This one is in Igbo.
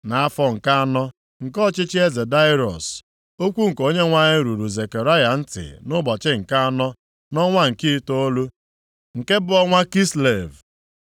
Nʼafọ nke anọ nke ọchịchị eze Daraiọs, okwu nke Onyenwe anyị ruru Zekaraya ntị nʼụbọchị nke anọ, nʼọnwa nke itoolu, nke bụ ọnwa Kislev.